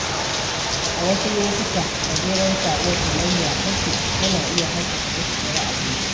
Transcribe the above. A wasu lokuta, gajeren saƙo kamar "Ya kake?" yana iya haskaka zuciyar aboki.